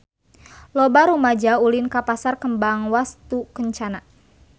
Loba rumaja ulin ka Pasar Kembang Wastukencana